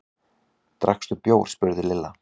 Drakkstu bjór? spurði Lilla.